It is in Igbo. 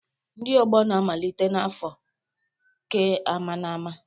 Ndi ogbo na-amalite na afọ keamaaama